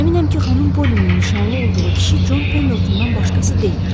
Əminəm ki, xanım Pollynin nişanlı olduğu kişi Con Pendeltondan başqası deyil.